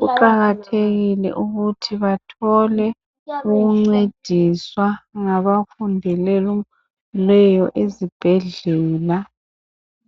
kuqakathekile ukuthi bathole ukuncediswa ngabafundeleyo ezibhedlela